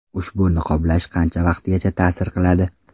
Ushbu niqoblash qancha vaqtgacha ta’sir qiladi?